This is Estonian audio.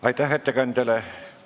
Aitäh ettekandjale!